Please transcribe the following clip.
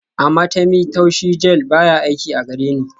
Amatemí taushi gel baya aiki a gareni